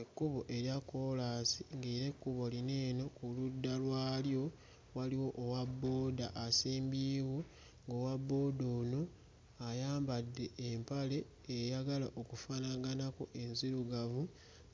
Ekkubo erya kkolaasi ng'era ekkubo lino eno ku ludda lwalyo waliwo owa bbooda asimbyewo ng'owa bbooda ono ayambadde empale eyagala okufaanaganako enzirugavu,